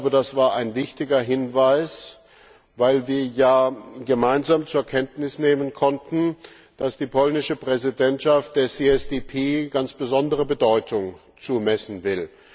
Das war ein wichtiger Hinweis, weil wir gemeinsam zur Kenntnis nehmen konnten, dass die polnische Präsidentschaft der GSVP ganz besondere Bedeutung zumessen will.